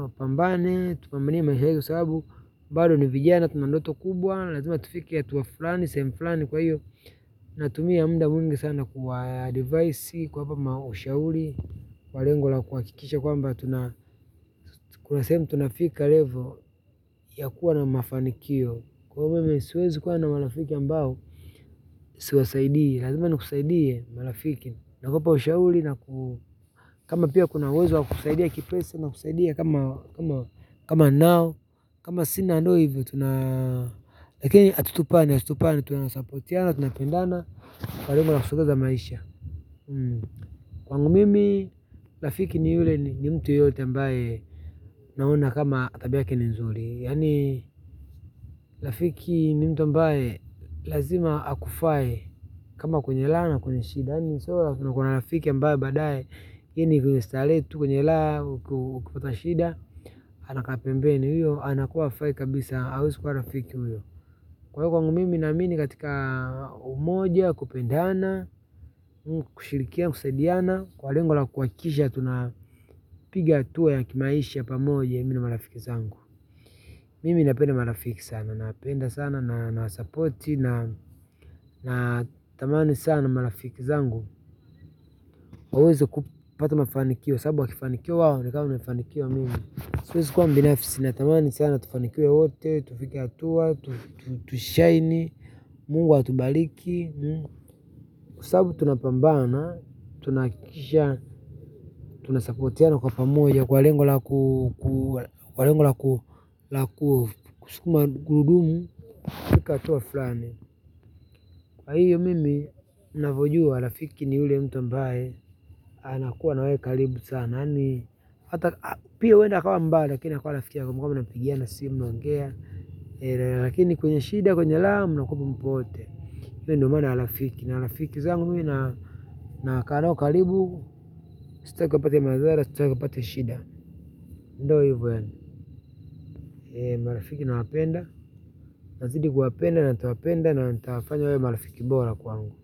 wapambane tupambanie maisha yetu sababu bado ni vijana, tuna ndoto kubwa, na lazima tufike hatua fulani, sehemu flani kwa hiyo natumia muda mwingi sana kuwa advice, kuwapa ushauri, kwa lengo la kuhakikisha kwamba tuna kuna sehemu tunafika level ya kuwa na mafanikio. Kwaivo mimi siwezi kuwa na marafiki ambao, siwasaidii lazima nikusaidie marafiki. Naogopa ushauri na kama pia kuna uwezo wa kusaidia kipesa nakusaidia kama kama ninao kama sina ndio hivyo, lakini hatutupani, hatutupani, tuna supportiana, tunapendana, kwa lengo la kusongeza maisha kwangu mimi, rafiki ni yule ni mtu yoyote ambae naona kama tabia yake ni nzuri yaani, rafiki ni mtu ambaye lazima akufaye kama kwenye raha na kwenye shida yaani, mwishowe, tunakuwa na rafiki ambaye baadaye, hii ni starehe tu, kwenye raha, ukipata shida anakaa pembeni huyo anakuwa hafai kabisa hawezi kwa rafiki huyo kwa hivyo kwangu mimi naamini katika umoja kupendana kushirikiana kusaidiana kwa lengo la kuhakikisha tunapiga hatua ya kimaisha pamoja mimi na marafiki zangu mimi napendea marafiki sana napenda sana na support. Nathamani sana marafiki zangu waweze kupata mafanikio sababu wakifanikiwa waonekana wamefanikiwa mimi siwezi kwa mbinafsi natamani sana tufanikiwe wote. Tufike hatua, tushaini, mungu atubariki. Kwa sababu tunapambana, tunahakikisha, tuna suppotiana kwa pamoja, kwa lengo la ku, kwa lengo la ku, la, kuskuma gurudumu. Tufike hatua flani. Kwa hiyo mimi, navojua, rafiki ni yule mtu ambaye. Anakuwa na wewe karibu sana yaani hata. Pia huenda akawa mbaya, lakini akawa rafiki ya kwamba mnapigiana simu mnaongea. Lakini kwenye shida, kwenye raha, mnakuwepo mpo wote hiyo ndo maana ya rafiki na rafiki zangu mimi nakaa nao karibu. Staki wapate madhara, staki wapate shida ndio hivo yaani marafiki nawapenda. Nazidi kuwapenda, na ntawapenda na natafanya wawe marafiki bora kwangu.